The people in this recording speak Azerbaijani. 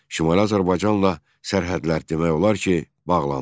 Şimali Azərbaycanla sərhədlər demək olar ki, bağlandı.